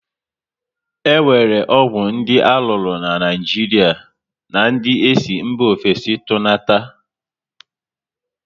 E nwere ọgwụ dị aruru na Naịjiria na ndị esi mba ofesi tunata